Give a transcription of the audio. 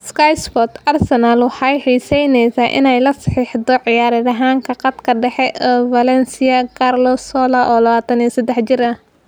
(Sky Sports) Arsenal waxay xiiseynaysaa inay la saxiixato ciyaaryahanka khadka dhexe ee Valencia, Carlos Soler oo 23 jir ah.